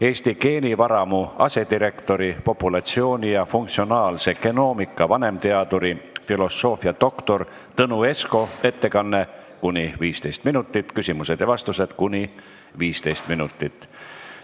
Eesti geenivaramu asedirektori, populatsiooni- ja funktsionaalse genoomika vanemteaduri, filosoofiadoktor Tõnu Esko ettekanne kuni 15 minutit, küsimused ja vastused kuni 15 minutit.